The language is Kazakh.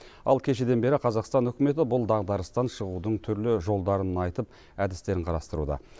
ал кешеден бері қазақстан үкіметі бұл дағдарыстан шығудың түрлі жолдарын айтып әдістерін қарастыруда